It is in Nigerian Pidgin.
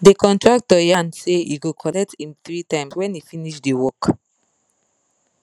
the contractor yan say he go colet him 3 times when he finish the work